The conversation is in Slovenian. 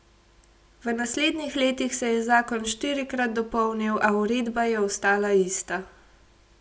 V naslednjih letih se je zakon štirikrat dopolnil, a uredba je ostala ista.